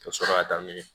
Ka sɔrɔ ka taa n'u ye